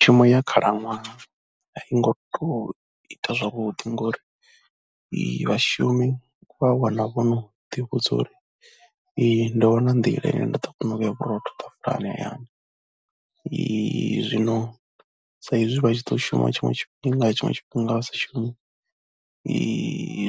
Themo ya khalaṅwaha a i ngo tou ita zwavhuḓi ngori vhashumi vha wana vho no ḓivhudza uri ndo wana nḓila ine nda ḓo kona u vhea vhurotho ḓafulani hayani zwino saizwi vha tshi ḓo shuma tshiṅwe tshifhinga, tshiṅwe tshifhinga vha sa shumi